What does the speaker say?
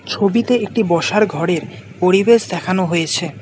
ছবিতে একটি বসার ঘরের পরিবেশ দেখানো হয়েছে।